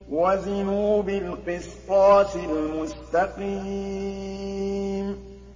وَزِنُوا بِالْقِسْطَاسِ الْمُسْتَقِيمِ